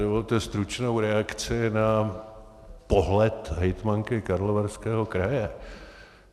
Dovolte stručnou reakci na pohled hejtmanky Karlovarského kraje.